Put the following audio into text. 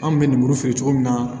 An bɛ lemuru feere cogo min na